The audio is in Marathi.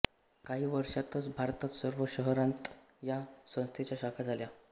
काही वर्षातच भारतात सर्व शहरांत या संस्थेच्या शाखा झाल्या